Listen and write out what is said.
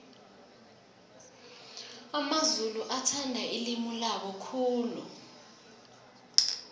amamzulu athanda ilimi labo khulu